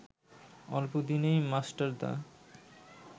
অল্পদিনেই মাস্টারদা